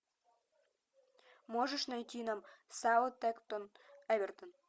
можешь найти нам саутгемптон эвертон